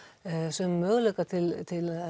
sömu möguleika til til